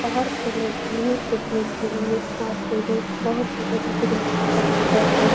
बाहर के लोग घूमने फिरने के लिए आते है। बहोत ही बड़ी-बड़ी पत्थर है।